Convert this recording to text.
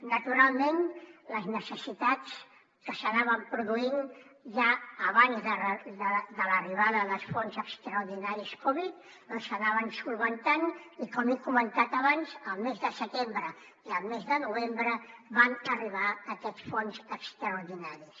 naturalment les necessitats que s’anaven produint ja abans de l’arribada dels fons extraordinaris covid doncs s’anaven solucionant i com he comentat abans el mes de setembre i el mes de novembre van arribar aquests fons extraordinaris